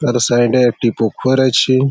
তার সাইড -এ একটি পুকুর আছে।